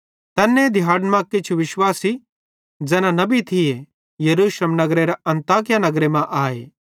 तैन्ने दिहाड़न मां किछ विश्वासी ज़ैना नबी थिये यरूशलेम नगरेरां अन्ताकिया नगरे मां आए